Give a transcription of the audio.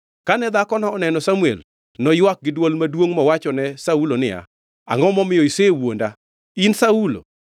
Kane dhakono oneno Samuel noywak gi dwol maduongʼ mowachone Saulo niya, “Angʼo momiyo isewuonda? In Saulo!”